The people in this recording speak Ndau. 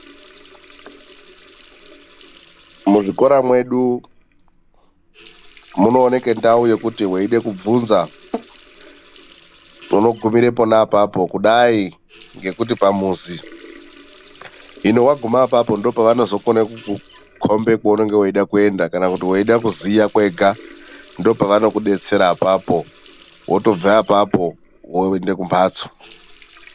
Muzvikora medu munoonekwa ndau yekuti weida kuvhunza unogumira pona ipapo kudai ngekuti pamuzi ino waguma ipapo ndokwaunooona weikomba kwaunonga weide kuenda kana weide kuziya kwega ndipo pavanokudetsera apapo. Wotobve apapo woende kumhatso.